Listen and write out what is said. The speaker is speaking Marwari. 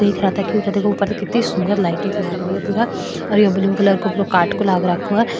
देख रहा था ऊपर कितनी सुन्दर लाइट लागरी पूरा और यहाँ ब्लू कलर को काट को लाग रखो है।